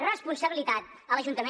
responsabilitat a l’ajuntament